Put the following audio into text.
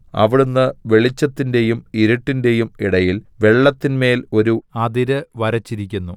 അവിടുന്ന് വെളിച്ചത്തിന്റെയും ഇരുട്ടിന്റെയും ഇടയിൽ വെള്ളത്തിന്മേൽ ഒരു അതിര് വരച്ചിരിക്കുന്നു